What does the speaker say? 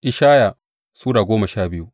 Ishaya Sura goma sha biyu